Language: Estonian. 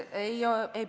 Aitäh!